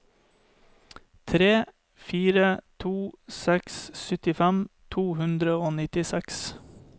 tre fire to seks syttifem to hundre og nittiseks